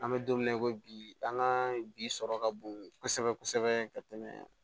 An bɛ don min na i ko bi an ka bi sɔrɔ ka bon kosɛbɛ kosɛbɛ ka tɛmɛ